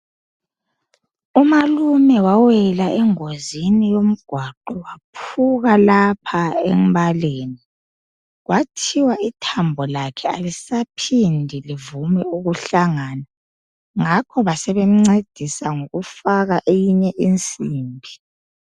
Umalume wawela engozini waphuka lapha embaleni kwathiwa ithambo lakhe alisaphindi livume ukuhlangana ngakho basebemncedisa ngokufaka eyinye insimbi